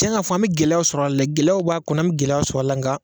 Tiɲɛ ka fɔ an bɛ gɛlɛya sɔrɔ a la, gɛlɛyaw b'a kɔnɔ a bɛ gɛlɛya sɔrɔ a la, n ka.